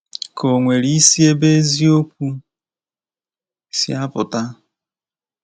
Ka o nwere isi ebe eziokwu si apụta?